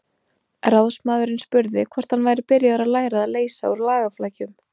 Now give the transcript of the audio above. Ráðsmaðurinn spurði hvort hann væri byrjaður að læra að leysa úr lagaflækjum.